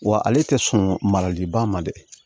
Wa ale tɛ sɔn maraliba ma dɛ